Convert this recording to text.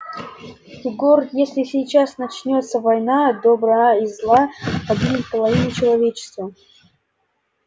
егор если сейчас начнётся война добра и зла погибнет половина человечества